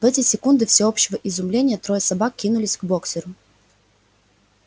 в эти секунды всеобщего изумления трое собак кинулись к боксёру